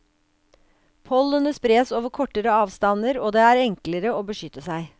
Pollenet spres over kortere avstander og det er enklere å beskytte seg.